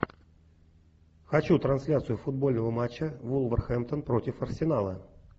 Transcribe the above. хочу трансляцию футбольного матча вулверхемптон против арсенала